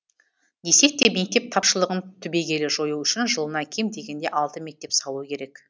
десек те мектеп тапшылығын түбегейлі жою үшін жылына кем дегенде алты мектеп салу керек